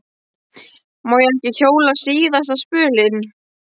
Má ég ekki hjóla síðasta spölinn?